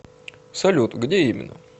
салют где именно